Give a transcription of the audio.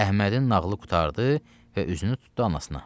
Əhmədin nağlı qurtardı və üzünü tutdu anasına.